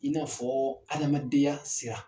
In n'a fɔ adamadenya sira